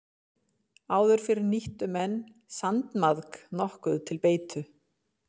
Áður fyrr nýttu menn sandmaðk nokkuð til beitu.